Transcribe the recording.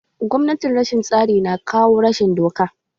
Gwamnatin rashin tsari na kawo rashin doka.